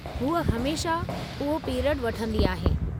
हूअ हमेशह उहो पीरियडु वठंदी आहे।